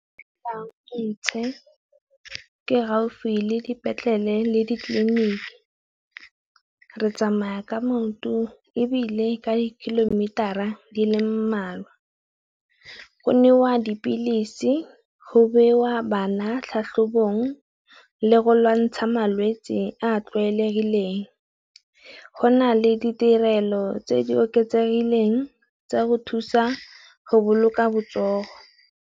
ntšhe ke gaufi le dipetlele le ditleliniki. Re tsamaya ka maoto ebile ka di kilometera di le mmalwa. Go newa dipilisi, go bewa bana tlhatlhobong le go lwantsha malwetsi a tlwaelegileng. Go na le ditirelo tse di oketsegileng tsa go thusa go boloka botsogo.